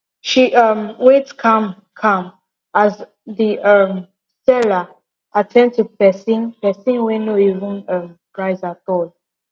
she um wait calm calm as the um seller at ten d to person person wey no even um price at all